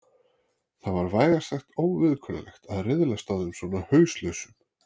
Það var vægast sagt óviðkunnanlegt að riðlast á þeim svona hauslausum.